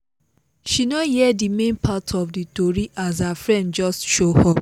she no hear the main part of the tori as her friend just show up